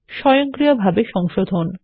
স্বয়ংক্রিয়ভাবে সংশোধন